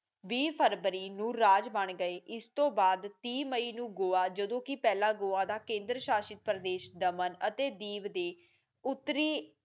ਵੀਹ ਫਰਵਰੀ ਨੂੰ ਰਾਜ ਬਾਣ ਗਏ ਇਸਤੋਂ ਬਾਦ ਤੀਹ ਮਈ ਨੂੰ ਗੋਆ ਜਦੋ ਕਿ ਪਹਿਲਾਂ ਗੋਆ ਦਾ ਕੇਦਰ ਸ਼ਾਸ਼ਿਤ ਪ੍ਰਦੇਸ ਦਮਨ ਅਤੇ ਦੀਪ ਦੇ ਉੱਤਰੀ ਐਕਟ